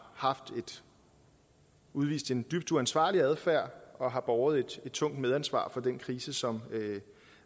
udvist en dybt uansvarlig adfærd og har båret et tungt medansvar for den krise som